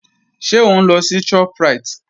Ṣé òun lọ sí Shoprite?